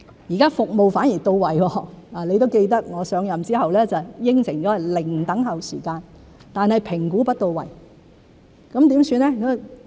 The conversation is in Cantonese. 現在服務反而到位——你也記得我上任後答應過是"零等候"時間——但評估不到位，怎麼辦呢？